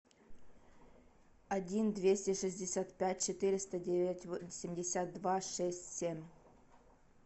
один двести шестьдесят пять четыреста девять восемьдесят два шесть семь